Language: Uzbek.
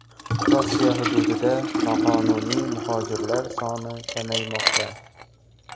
Rossiya hududida noqonuniy muhojirlar soni kamaymoqda.